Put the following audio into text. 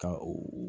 Ka o